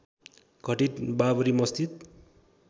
घटित बाबरी मस्जिद